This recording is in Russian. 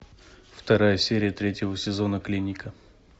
вторая серия третьего сезона клиника